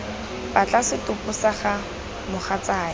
batla setopo sa ga mogatsaake